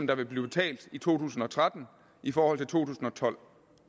der vil blive betalt i to tusind og tretten i forhold til to tusind og tolv